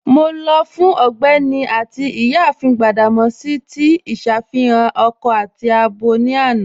Mọ lọ fun Ọgbẹni àti Iyáàfin Gbadamosi tí iṣàfihàn akọ tàbí àbọ ni àná.